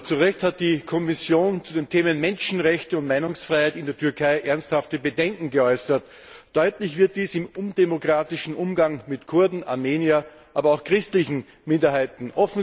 Zu Recht hat die Kommission zu den Themen Menschenrechte und Meinungsfreiheit in der Türkei ernsthafte Bedenken geäußert. Deutlich wird dies im undemokratischen Umgang mit Kurden, Armeniern, aber auch christlichen Minderheiten.